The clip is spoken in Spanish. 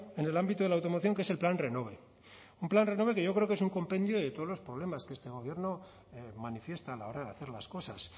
en el ámbito de la automoción que es el plan renove un plan renove que yo creo que es un compendio de todos los problemas que este gobierno manifiesta a la hora de hacer las cosas